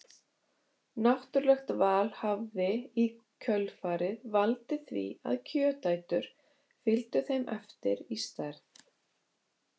Náttúrulegt val hafi í kjölfarið valdið því að kjötætur fylgdu þeim eftir í stærð.